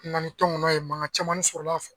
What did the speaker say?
Nani tɔnkɔnɔ ye manga caman ne sɔrɔl'a fɛ